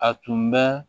A tun bɛ